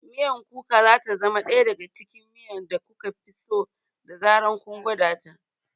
Miyar Kuka za ta zama ɗaya daga cikin miya da kuka fi so da zarar kun gwada ta.